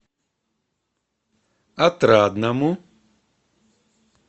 отрадному